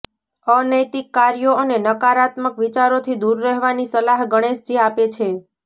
અનૈતિક કાર્યો અને નકારાત્મક વિચારોથી દૂર રહેવાની સલાહ ગણેશજી આપે છે